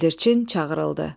Bildirçin çağırıldı.